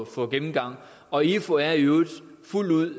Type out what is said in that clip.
for gennemgang og ifu er i øvrigt fuldt ud